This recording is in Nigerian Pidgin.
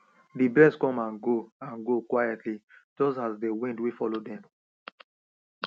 dey birds come and go and go quietlyjust as dey wind wey follow dem